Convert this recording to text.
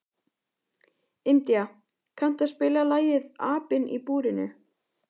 India, kanntu að spila lagið „Apinn í búrinu“?